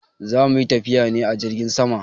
Za mu yi tafiya ne a jirgin sama.